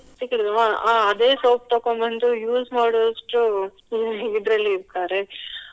type ಸಿಕ್ಕುವುದು ಅಹ್ ಅಹ್ ಅದೇ soap ತಗೋ ಬಂದು use ಮಾಡುವಷ್ಟು ಇದ್ರಲ್ಲಿ ಇರ್ತಾರೆ.